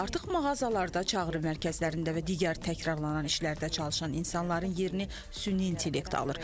Artıq mağazalarda, çağrı mərkəzlərində və digər təkrarlanan işlərdə çalışan insanların yerini süni intellekt alır.